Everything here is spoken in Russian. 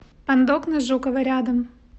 пандок на жукова рядом